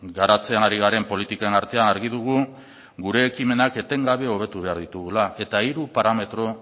garatzen ari garen politiken artean argi dugu gure ekimenak etengabe hobetu behar ditugula eta hiru parametro